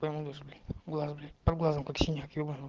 прямо луз блять глаз блять под глазом как синяк ебаный в рот